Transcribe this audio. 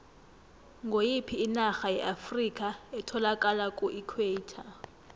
ngoyiphi inarha yeafrikha etholakala kuequator